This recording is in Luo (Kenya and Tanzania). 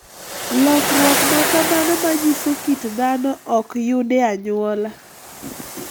Lokruok ma kamano manyiso kit dhano ok yud e anyuola.